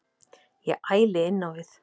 Ég æli innávið.